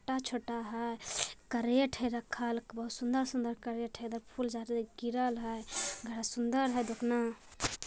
छोटा-छोटा हैं करेठ है रखल बहुत सुन्दर-सुन्दर करेठ है । फूलझाडू गिरल हैं बड़ा सुन्दर हई ।